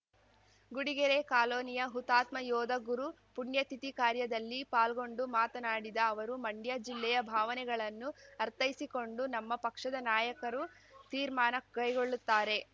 ಗುಡಿಗೆರೆ ಕಾಲೋನಿಯ ಹುತಾತ್ಮ ಯೋಧ ಗುರು ಪುಣ್ಯತಿಥಿ ಕಾರ್ಯದಲ್ಲಿ ಪಾಲ್ಗೊಂಡು ಮಾತನಾಡಿದ ಅವರು ಮಂಡ್ಯ ಜಿಲ್ಲೆಯ ಭಾವನೆಗಳನ್ನು ಅರ್ಥೈಸಿಕೊಂಡು ನಮ್ಮ ಪಕ್ಷದ ನಾಯಕರು ತೀರ್ಮಾನ ಕೈಗೊಳ್ಳುತ್ತಾರೆ